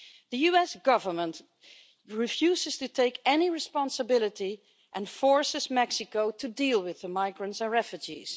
The US Government refuses to take any responsibility and is forcing Mexico to deal with the migrants and refugees.